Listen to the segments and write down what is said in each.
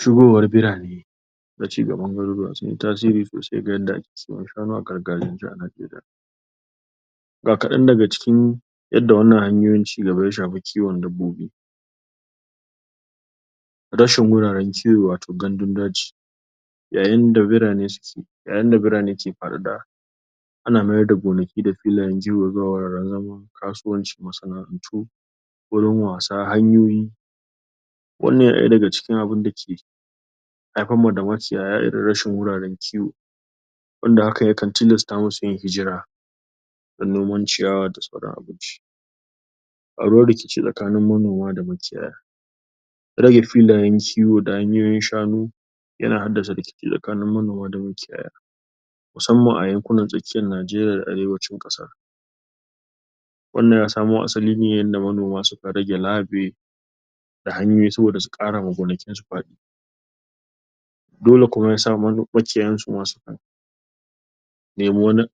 Shuwa wari birane na ci gaban garuruwa sun yi tasiri sosai ga inda ake siyan shanu a karkaren Najeriya ga kaɗan daga cikin inda wannan hanyoyi cigaba ya shafi kiwon dabbobi rashin wuraren kiwo wato gandun daji yayin da birane yayin da birane ke hadu da ana miyar da gonaki da filayen kiwo kasuwancin masana'antu wurin wasa hanyoyi wanan ɗaya daga cikin abun dake haifam ma da maciyaya irin rashi wuraren kiwo wanda hakan yakan tilasta musu yin hijira don noman ciyawa da tsiran abinci ƙaruwar rikici tsakinin monama da maciyaya rage filayen kiwo da hanyoyin shanu yana haddasa rikici tsanini manoma da maciyaya musamman a yankuna tsakiyan Najeriya Arewancin kasa wannan ya samo asalin ne yanda manoma suka rage labe da hanyoyi su wanda suka kara ma gonakinsu fadi dole kuma yasa ɓacewansu ma nemo wani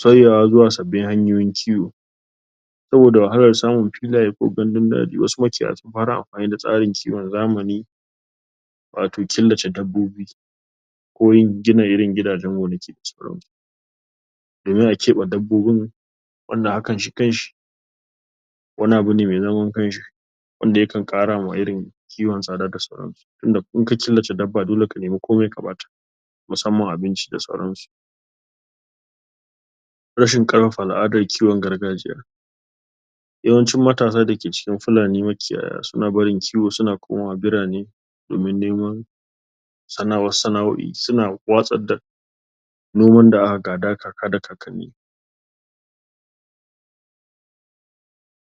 sauyewa zuwa sabin hanyoyin kiwo saboda wahalar samun filaye ko gandun daji wasu maciyaya sun fara amanin da tsarin kiwon zamani watau kilace dabbobi ko irin gina irin gidajen gonaki domin a keɓe dabbobin wanda hakan shi kanshi wani abu ne me zaman kanshi wanda yankan ƙara wa irin kiwon tsada da sauransu tunda in ka kilace daba dole ka nima komai ka bata musamman abinci da sauransu rashin al'adar kiwon gargajiya yawancin matasa dake cikin fulani maciyaya suna barin kiwo suna komawa birane domin neman sanawa sana'oi suna watsar da noman da aka gada kaka da kakanni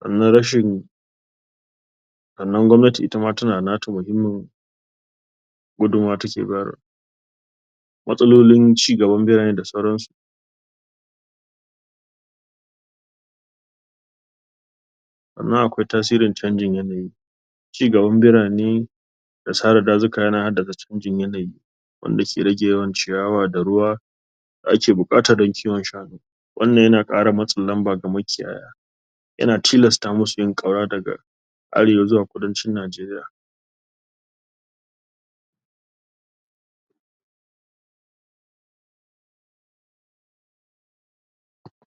na rashin sannan gwamnati itama tana nata muhimmun gudumuwa take bayar matsalolin ci gaban birane da sauransu wannan akwai tasirin canjin yanayi cigaban birane da sare dazuka yana hadasa canjin yanayi wanda ke rage yawan ciyawa da ruwa da ake buƙata don kiwon shanu wannan yana ƙara matsin lamba ga maciyaya yana tilasta musu yin ƙaura daga arewa zuwa kudancin Najeriya